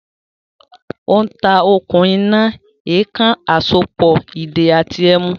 Ó ń ta “okùn iná, èèkàn àsopọ̀, ìdè àti ẹ̀mú”